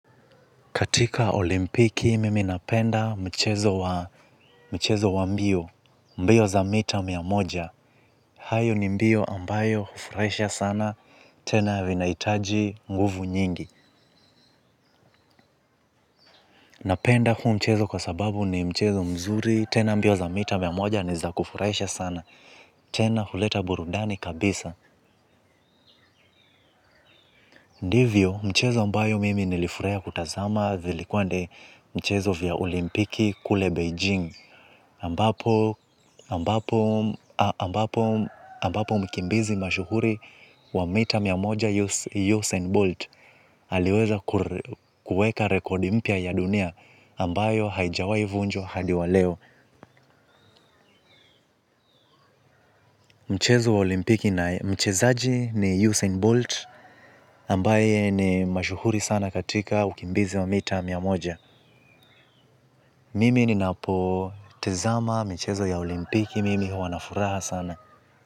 Katika olimpiki, mimi napenda mchezo wa mbio, mbio za mita mia moja. Hayo ni mbio ambayo hufurahisha sana, tena vinahitaji nguvu nyingi. Napenda huu mchezo kwa sababu ni mchezo mzuri, tena mbio za mita mia moja ni za kufurahisha sana, tena huleta burudani kabisa. Ndivyo, mchezo ambayo mimi nilifurahia kutazama, vilikuwa ni mchezo vya olimpiki kule Beijing. Ambapo mkimbizi mashuhuri wa mita mia moja Usain Bolt aliweza kuweka rekodi mpya ya dunia ambayo haijawai vunjwa hadi wa leo. Mchezo wa olimpiki na mchezaji ni Usain Bolt ambaye ni mashuhuri sana katika ukimbizi wa mita mia moja. Mimi ni napo tizama michezo ya olimpiki mimi huwa na furaha sana.